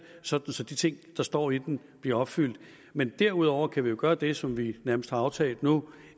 så så de ting der står i den bliver opfyldt men derudover kan vi jo gøre det som vi nærmest har aftalt nu